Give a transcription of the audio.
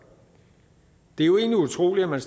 det er jo egentlig utroligt at man